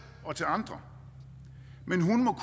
og til andre men hun må